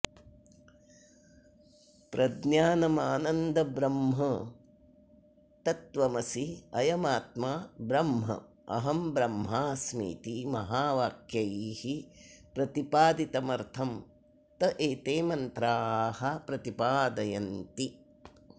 प्रज्ञानमानन्दं ब्रह्म तत्त्वमसि अयमात्मा ब्रह्म अहं ब्रह्मास्मीति महावाक्यैः प्रतिपादितमर्थं त एते मन्त्राः प्रतिपादयन्ति